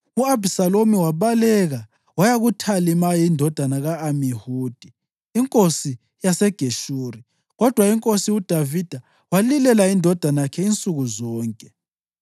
U-Abhisalomu wabaleka waya kuThalimayi indodana ka-Amihudi inkosi yaseGeshuri. Kodwa Inkosi uDavida walilela indodana yakhe insuku zonke.